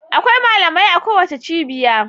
Akwai malamai a kowace cibiya.